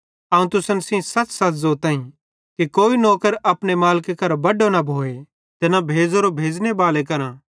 अवं तुसन सेइं सच़सच़ ज़ोताईं कि नौकर अपने मालिके करां बड्डो न भोए ते न भेज़ोरो भेज़ने बाले करां